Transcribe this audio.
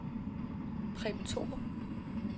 Preben Thorup